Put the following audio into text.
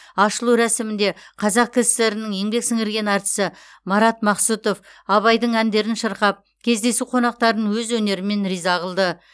ашылу рәсімінде қазақ кср нің еңбек сіңірген әртісі марат мақсұтов абайдың әндерін шырқап кездесу қонақтарын өз өнерімен риза қылды